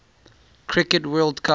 cricket world cup